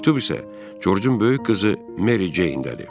Məktub isə Corcun böyük qızı Meri Ceyndədir.